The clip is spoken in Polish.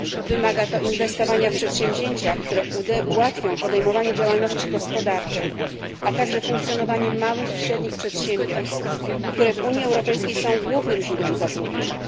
Wymaga ono inwestowania w przedsięwzięcia, które ułatwią podejmowanie działalności gospodarczej, a także funkcjonowanie małych i średnich przedsiębiorstw, które w Unii Europejskiej są głównym źródłem zatrudnienia.